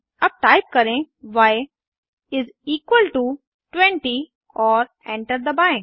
अब टाइप करें y is equal to 20 और एंटर दबाएं